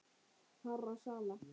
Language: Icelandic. hárra sala.